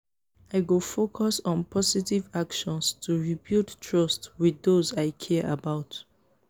i go focus on positive actions to rebuild trust with those i care about.